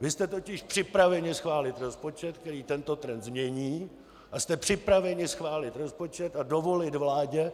Vy jste totiž připraveni schválit rozpočet, který tento trend změní, a jste připraveni schválit rozpočet a dovolit vládě,